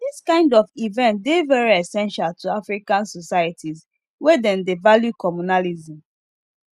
this kind of event dey very essential to african societies where dem dey value communalism